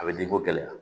A bɛ denko gɛlɛya